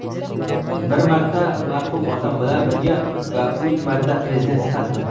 Bir marta marhum otam bilan birga va uch marta Prezident sifatida.